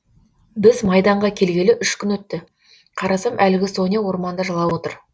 біз майданға келгелі үш күн өтті қарасам әлгі соня орманда жылап отыр